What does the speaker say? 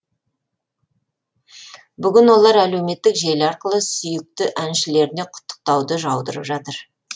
бүгін олар әлеуметтік желі арқылы сүйікті әншілеріне құттықтауды жаудырып жатыр